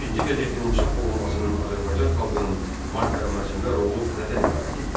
Əkinçi qəzetinin çap olunmasının Azərbaycan xalqının maariflənməsində rolu nədən ibarət idi?